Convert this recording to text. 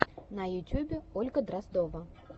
на ютюбе ольга дроздова